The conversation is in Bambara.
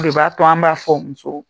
b'a to an b'a fɔ musow